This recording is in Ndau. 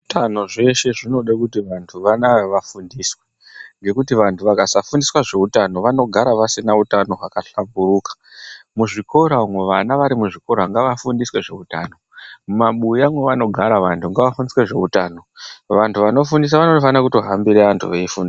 Zveutano zveshe zvinode kuti vanthu vanaa vafundiswe. Ngekuti vanthu vakasafundiswa zveutano vanogara vasina utano hwakahlamburuka. Muzvikora umwo vana vari muzvikora ngavafundiswe zveutano. Mwumabuya mwevanogara vanthu ngavafundiswe zveutano. Vanthu vanofundisa vanofanire kutohambira vanthu veifundisa.